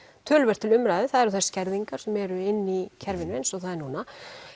töluvert til umræðu það eru þær skerðingar sem eru inni í kerfinu eins og það er núna